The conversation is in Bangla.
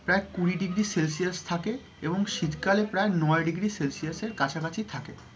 প্রায় কুড়ি degree celsius থাকে এবং শীতকালে প্রায় নয় degree celsius এর কাছাকাছি থাকে।